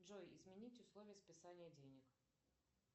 джой изменить условия списания денег